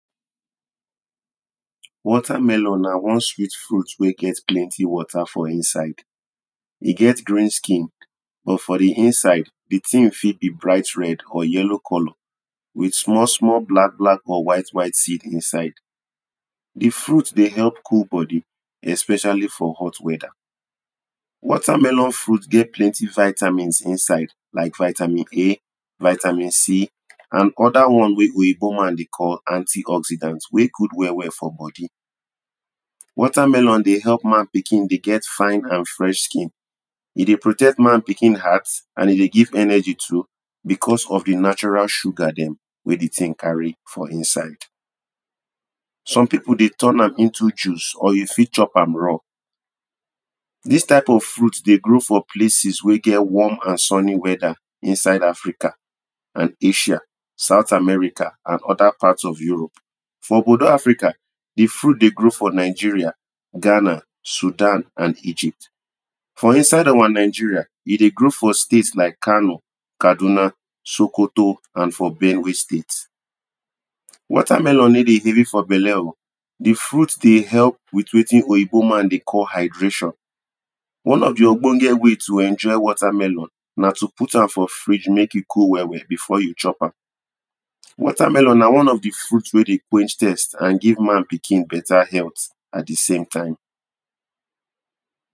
Water melon na one sweet fruit wen get plenty water for inside. e get green skin but for di inside, di tin fit be bright red or yellow colour with small small black black or white white seed inside. di fruit dey help cool body especially for hot weather. Water melon fruit get plenty vitamins inside like, vitamin A, vitanimC, and other ones wen oyibo man dey call., anti-oxidants wey good well well for body. Water melon dey help man pikin dey get fine and fresh skin, e dey protect man pikin heart and e dey give energy too because of di natural sugar dem wey di thing carry for inside. Some people dey turn am into juice or you fit chop am raw. Dis type of fruit dey grow for places wen get warm and sunny whether inside Africa and Asia, South America and other parts of Europe. For obodo Africa, di furit dey grow for Nigeria, Ghana, Sudan and Egypt. For inside our Nigeria, e dey grow for states like Kano, Kaduna, Sokoto and for Benue state. Water melon no dey gree for belle oh, di fruit dey help with wetin oyibo man de call hydration. one of di ogbonge way to enjoy water melon na to put am for fridge make e cold well well before you chop am. Water melon na one of di fruit wen dey quench thirst and give man pikin better health at di same time.